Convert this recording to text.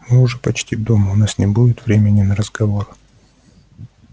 мы уже почти дома у нас не будет времени на разговор